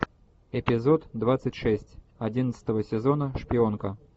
эпизод двадцать шесть одиннадцатого сезона шпионка